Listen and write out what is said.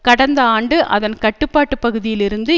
கடந்த ஆண்டு அதன் கட்டுப்பாட்டு பகுதியில் இருந்து